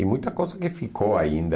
E muita coisa que ficou ainda...